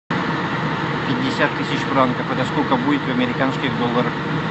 пятьдесят тысяч франков это сколько будет в американских долларах